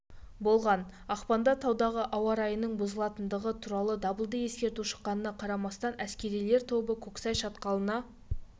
болған ақпанда таудағы ауа райының бұзылатындығы туралы дабылды ескерту шыққанына қарамастан әскерилер тобы көксай шатқалына